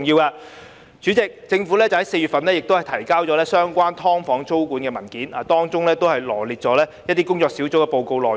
代理主席，政府在4月份提交有關"劏房"租管的文件，當中臚列出一些工作小組的報告內容。